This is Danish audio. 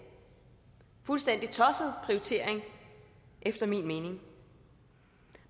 fuldstændig tosset prioritering efter min mening